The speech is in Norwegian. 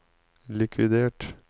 likvidert